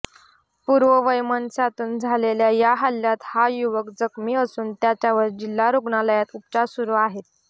पूर्ववैमनस्यातून झालेल्या या हल्ल्यात हा युवक जखमी असून त्याच्यावर जिल्हा रुग्णालयात उपचार सुरु आहेत